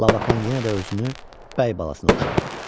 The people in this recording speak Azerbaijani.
Labakan yenə də özünü bəy balasına oxşadıb.